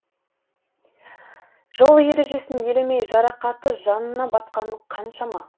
жол ережесін елемей жарақаты жанына батқаны қаншама